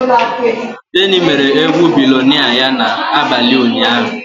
Teni mere egwu billionnaire ya n'abalị ụnyaahụ.